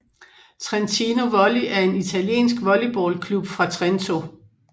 Trentino Volley er en italiensk volleybalklub fra Trento